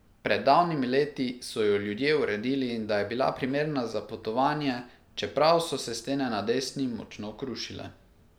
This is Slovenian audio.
Pred davnimi leti so jo ljudje uredili, da je bila primerna za potovanje, čeprav so se stene na desni močno krušile.